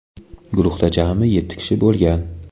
Guruhda jami yetti kishi bo‘lgan.